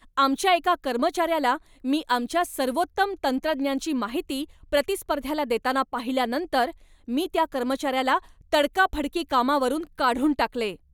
आमच्या एका कर्मचाऱ्याला मी आमच्या सर्वोत्तम तंत्रज्ञांची माहिती प्रतिस्पर्ध्याला देताना पाहिल्यानंतर, मी त्या कर्मचाऱ्याला तडकाफडकी कामावरून काढून टाकले.